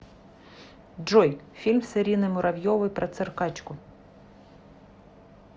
джой фильм с ириной муравьевой про циркачку